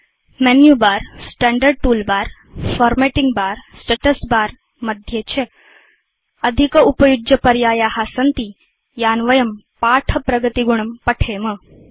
menu bar standard toolbar formatting bar status bar मध्ये च अधिकोपयुज्यपर्याया सन्ति यान् वयं पाठ प्रगतिगुणं पठेम